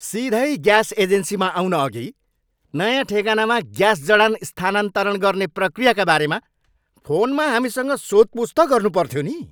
सिधै ग्यास एजेन्सीमा आउनअघि नयाँ ठेगानामा ग्यास जडान स्थानान्तरण गर्ने प्रक्रियाका बारेमा फोनमा हामीसँग सोधपुछ त गर्नुपर्थ्यो नि।